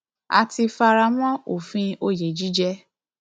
a ti fara mọ òfin òye jíjẹ